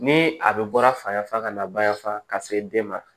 Ni a bɛ bɔra fa yanfan ka na bayanfa ka se den ma